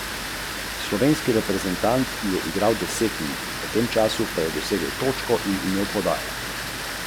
Mi je pa žal za izgubljenim finalom.